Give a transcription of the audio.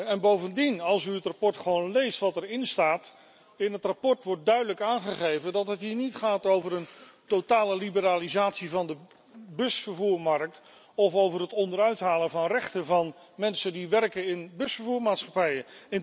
En bovendien, als u gewoon leest wat er in het verslag staat, wordt duidelijk aangegeven dat het hier niet gaat over een totale liberalisatie van de busvervoermarkt of over het onderuithalen van rechten van mensen die werken in busvervoermaatschappijen.